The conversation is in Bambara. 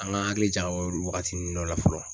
An ka hakili jagabɔ waagatini dɔ la fɔlɔ.